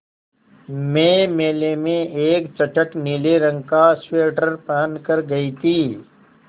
मैं मेले में एक चटख नीले रंग का स्वेटर पहन कर गयी थी